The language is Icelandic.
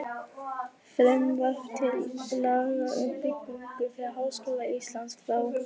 Frumvarp til laga um byggingu fyrir Háskóla Íslands, frá